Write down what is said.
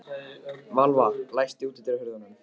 Valva, læstu útidyrunum.